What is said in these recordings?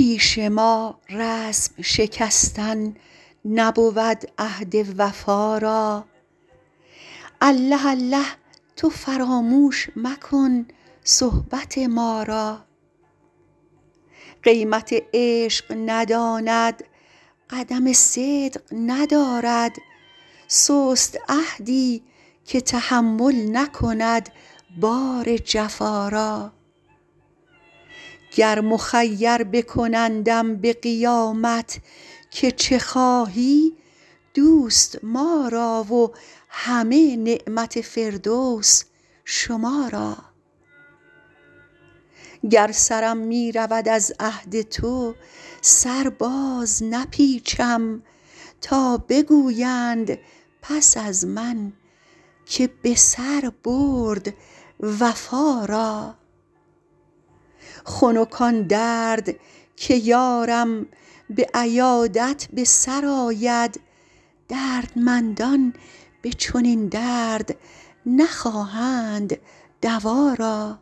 پیش ما رسم شکستن نبود عهد وفا را الله الله تو فراموش مکن صحبت ما را قیمت عشق نداند قدم صدق ندارد سست عهدی که تحمل نکند بار جفا را گر مخیر بکنندم به قیامت که چه خواهی دوست ما را و همه نعمت فردوس شما را گر سرم می رود از عهد تو سر بازنپیچم تا بگویند پس از من که به سر برد وفا را خنک آن درد که یارم به عیادت به سر آید دردمندان به چنین درد نخواهند دوا را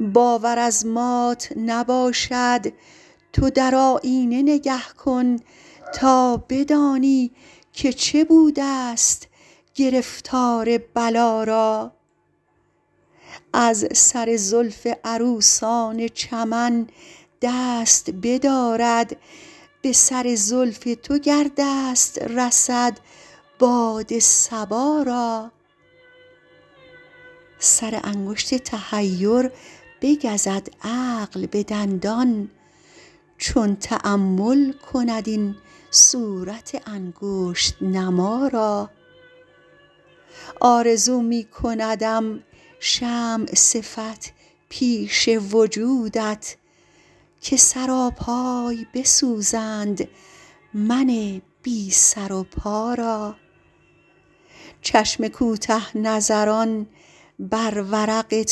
باور از مات نباشد تو در آیینه نگه کن تا بدانی که چه بودست گرفتار بلا را از سر زلف عروسان چمن دست بدارد به سر زلف تو گر دست رسد باد صبا را سر انگشت تحیر بگزد عقل به دندان چون تأمل کند این صورت انگشت نما را آرزو می کندم شمع صفت پیش وجودت که سراپای بسوزند من بی سر و پا را چشم کوته نظران بر ورق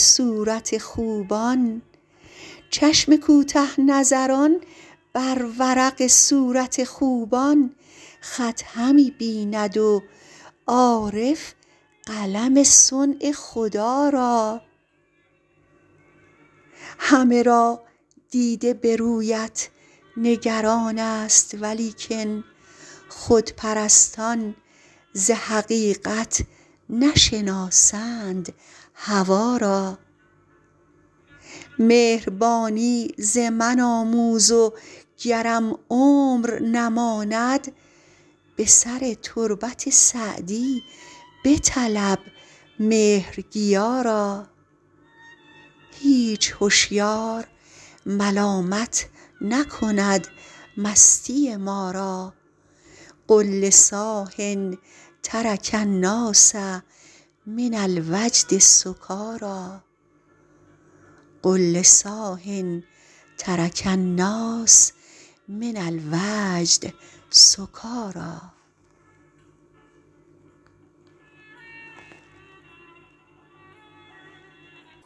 صورت خوبان خط همی بیند و عارف قلم صنع خدا را همه را دیده به رویت نگران ست ولیکن خودپرستان ز حقیقت نشناسند هوا را مهربانی ز من آموز و گرم عمر نماند به سر تربت سعدی بطلب مهرگیا را هیچ هشیار ملامت نکند مستی ما را قل لصاح ترک الناس من الوجد سکاریٰ